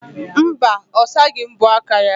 Mba, ọ saghị mbọ aka ya.